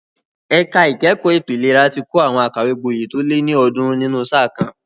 Ẹ̀ka ìkẹ́kọ̀ọ́ ètò ìlera ti kọ́ àwọn akàwégboyè tó lé ní ọ̀ọ́dúnrún nínú sáà kan.